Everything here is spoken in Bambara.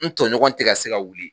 N tɔɲɔgɔn tega se ka wuli